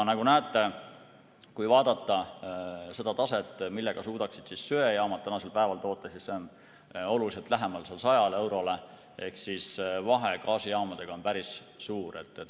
Nagu näete, vaadates seda taset, millega suudaksid söejaamad tänasel päeval toota, siis see on oluliselt lähemal 100 eurole ehk vahe gaasijaamadega on päris suur.